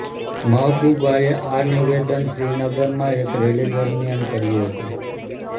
મહબૂબાએ આ નિવેદન શ્રીનગરમાં એક રેલી દરમિયાન કર્યુ હતું